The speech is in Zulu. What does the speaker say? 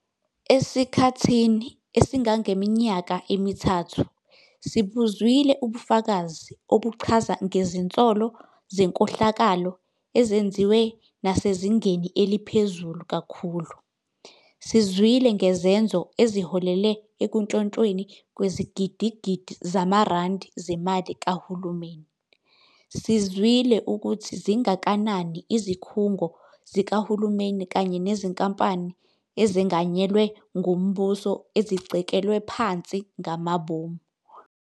Asikho isakhamuzi esingathatha umsebenzi wezikhulu ezisebenza ngabokufika noma izikhulu zomthetho ngokuphoqa ukuthi abokufika kuleli bakhiphe omazisi.